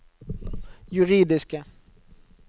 juridiske